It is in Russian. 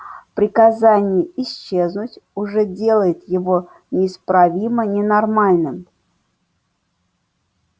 приказание исчезнуть уже делает его неисправимо ненормальным